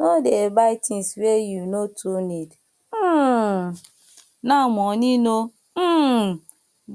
no dey buy tins wey you no too need um now moni no um